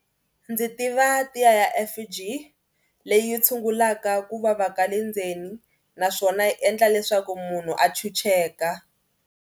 Ndzi tiva tiya ya F_G leyi tshungulaka ku vava ka le ndzeni naswona yi endla leswaku munhu a chucheka.